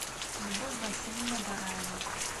любовь васильевна дараева